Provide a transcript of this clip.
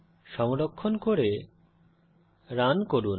সংরক্ষণ করে রান করুন